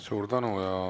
Suur tänu!